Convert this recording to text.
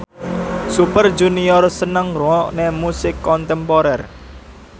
Super Junior seneng ngrungokne musik kontemporer